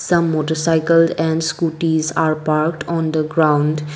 the motorcycle and scooties are parked on the ground.